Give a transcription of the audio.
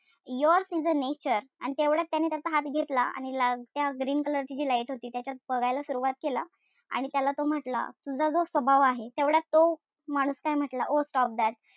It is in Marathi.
Yours is a nature आणि तेवढयात त्याचा हात घेतला आणि त्या green color ची जी light होती त्याच्यात बघायला सुरवात केलं. आणि त्याला तो म्हंटला तुझा जो स्वभाव आहे. तेवढ्यात तो माणूस काय म्हंटला Oh stop that.